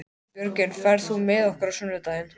Björgvin, ferð þú með okkur á sunnudaginn?